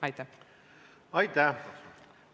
Aitäh!